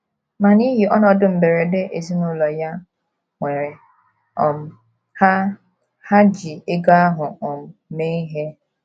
Ma n’ihi ọnọdụ mberede ezinụlọ ya nwere um, ha, ha ji ego ahụ um mee ihe.